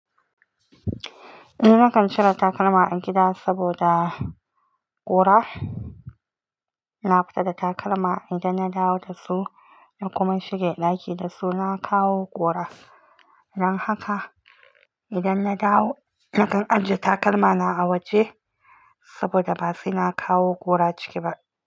Eh, nakan cire takalma a gida saboda ƙura. Na fita da takalma, idan na dawo da su na kuma shiga ɗaki da su, na kawo ƙura. Dan haka idan na dawo nakan ajiye takalma na a waje saboda ba sai a kawo ƙura ciki ba.